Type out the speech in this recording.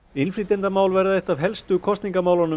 innflytjendamál verða eitt af helstu kosningamálunum